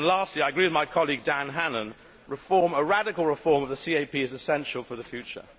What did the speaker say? Lastly I agree with my colleague Dan Hannan that a radical reform of the CAP is essential for the future.